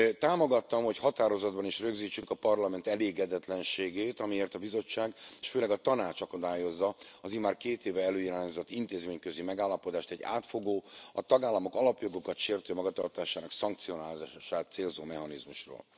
Támogattam, hogy határozatban is rögzítsük a Parlament elégedetlenségét, amiért a Bizottság, és főleg a Tanács akadályozza az immár két éve előirányzott intézményközi megállapodást egy átfogó, a tagállamok alapjogokat sértő magatartásának szankcionálását célzó mechanizmusról.